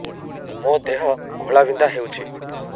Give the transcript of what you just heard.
ମୋ ଦେହ ଘୋଳାବିନ୍ଧା ହେଉଛି